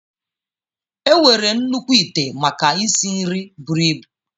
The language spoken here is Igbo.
Enwere nnukwu ite maka isi nri buru ibu.